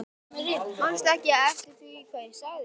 Manstu ekki eftir því hvað ég sagði við þig?